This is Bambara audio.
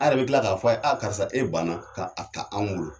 A yɛrɛ bɛ kila k'a fɔ a ye' karisa e banna k' a ka anw wolo.